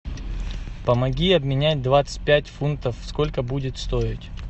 помоги обменять двадцать пять фунтов сколько будет стоить